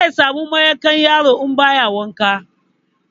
Zai samu maƙyanƙyaro in ba ya wanka.